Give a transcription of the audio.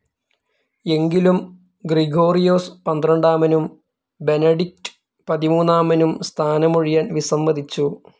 എങ്കിലും ഗ്രിഗോറിയോസ് പന്ത്രണ്ടാമനും ബെനഡിക്ട് പതിമൂന്നാമനും സ്ഥാനമൊഴിയാൻ വിസമ്മതിച്ചു.